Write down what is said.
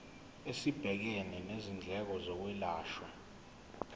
esibhekene nezindleko zokwelashwa